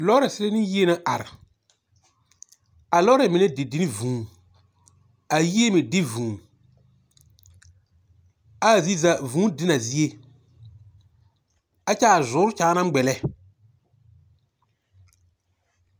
Lɔɔre zie ne yie na are. A lɔɔre mine didi ne vũũ. A yie me di vũũ. ɛ a zie za, vũũ di na a zie. ɛkyɛ a nyoore kyaa na ŋmɛlɛ.